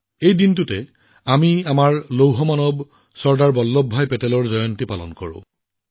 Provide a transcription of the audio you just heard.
এই দিনটোতে আমি আমাৰ লৌহ মানৱ চৰ্দাৰ বল্লভভাই পেটেলৰ জন্মবাৰ্ষিকী উদযাপন কৰোঁ